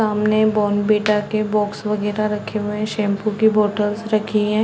सामने बोनवीटा के बॉक्स वगैरा रखे हुए है शैम्पू के बॉटल्स रखी हैं ।